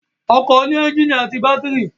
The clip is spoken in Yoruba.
Ọkọ̀ ní ẹ́ńjìnì àti bátírì